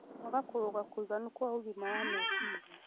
Kwaga kũrũnga kũiganu kwa ũgima wa meciria